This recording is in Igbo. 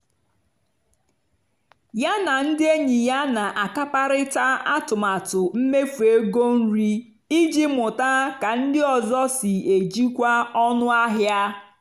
yá nà ndí ényì yá nà-àkàparị́tá àtụ́matụ́ mméfú égó nrì ìjì mụ́tá kà ndí ọ́zọ́ sí èjìkwá ónú àhịá.